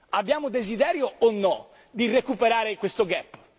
Abbiamo desiderio o no di recuperare questo gap